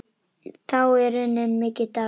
Þá er runninn mikill dagur.